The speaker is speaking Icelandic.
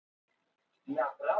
Hvað með eitthvað létt?